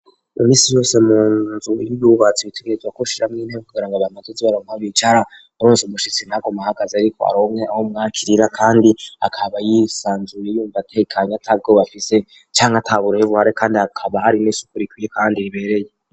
Iminsi yose munzu y'ibubatsi bitegezwa ko shiramwo intebe kugirango abantu bazoze barabona aho bicara uronse umushitsi ntaguma ahagaze arikonke aho mwakirira kandi akaba yisanzuye yumva atekanya atagwo bafise canke tabureye buhare kandi akaba ari n' isukurikiyo kandi ribereye.